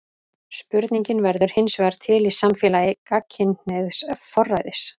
Spurningin verður hinsvegar til í samfélagi gagnkynhneigðs forræðis.